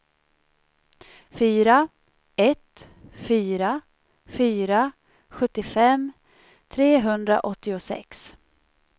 fyra ett fyra fyra sjuttiofem trehundraåttiosex